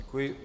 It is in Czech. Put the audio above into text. Děkuji.